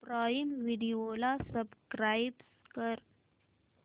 prime video ला subscribe कर